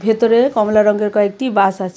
ভেতরে কমলা রঙের কয়েকটি বাস আছে .